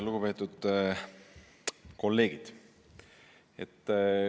Lugupeetud kolleegid!